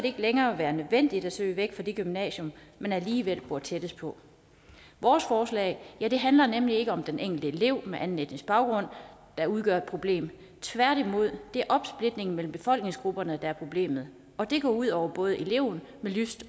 ikke længere være nødvendigt at søge væk fra det gymnasium man alligevel bor tættest på vores forslag handler nemlig ikke om den enkelte elev med anden etnisk baggrund der udgør et problem tværtimod det er opsplitningen mellem befolkningsgrupperne der er problemet og det går ud over både eleven med lyst